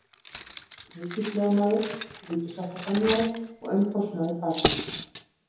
Ríkislögmaður, ríkissáttasemjari og umboðsmaður barna.